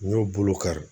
N y'o bolo kari